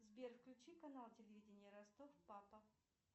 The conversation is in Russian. сбер включи канал телевидение ростов папа